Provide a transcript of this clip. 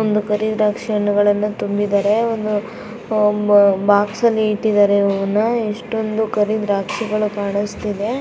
ಒಂದು ಕರಿ ದ್ರಾಕ್ಷಿ ಹಣ್ಣುಗಳನ್ನ ತುಂಬಿದ್ದಾರೆ. ಒಂದು ಹಮ್ ಬಾಕ್ಸಲ್ಲಿ ಇಟ್ಟಿದ್ದಾರೆ ಇವನ್ನ ಎಷ್ಟೊಂದು ಕರಿ ದ್ರಾಕ್ಷಿಗಳು ಕಾಣಸ್ತಿವೆ.